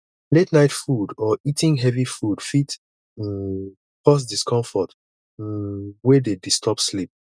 late night food or eating heavy food fit um cause discomfort um wey dey disturb sleep